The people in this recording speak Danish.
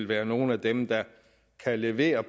være nogle af dem der kan levere